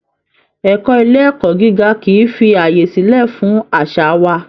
Ẹ̀kọ́ ilé ẹ̀kọ́ gíga kì í fi àyè sílẹ̀ fún àṣà wa